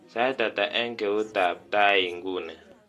Sait ata eng keuti ab tai nguni